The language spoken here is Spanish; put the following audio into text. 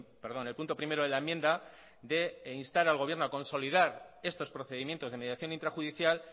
perdón el punto primero de la enmienda de instar al gobierno a consolidar estos procedimientos de mediación intrajudicial